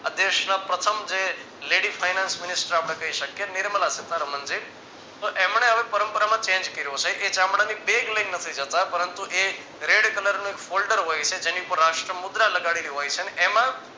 આ દેશના પ્રથમ જે lady finance minister આપણે કહી શકીએ નિર્મલાસીતારામનજી તો એમને હવે પરંપરા માં change કર્યો છે કે ચામડાની bag લઈ ને નથી જતા પરંતુ એ red કલરનું foldar હોય છે જેની પર રાષ્ટ્ર મુદ્રા લગાડેલું હોય છે અને એમાં